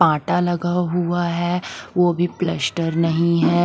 पाटा लगा हुआ है वो भी प्लस्टर नहीं है।